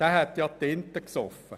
Derjenige hätte ja Tinte gesoffen.